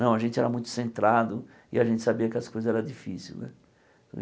Não, a gente era muito centrado e a gente sabia que as coisas eram difíceis né.